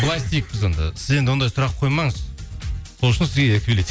былай істейік біз онда сіз енді ондай сұрақ қоймаңыз сол үшін сізге